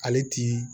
Ale ti